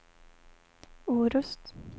Orust